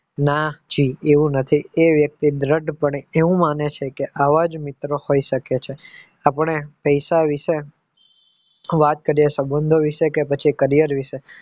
ના જી એવું નથી એ વ્યક્તિ દ્રઢ પણે એવું માને છે કે આવા જ મિત્રો હોઈ શકે છે આપણે પૈસા વિશે વાત કરીએ સંબંધો વિશે કે પછી કરિયર વિશે